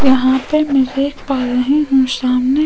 वहाँ पे मेरे एक है सामने --